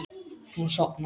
Hún sofnar.